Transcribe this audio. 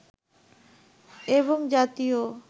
এবং জাতীয়